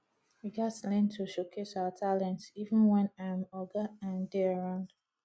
we gats learn to showcase our talents even wen um oga um dey around